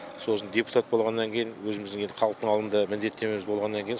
сосын депутат болғаннан кейін өзіміздің енді халықтың алдында міндеттемеміз болғаннан кейін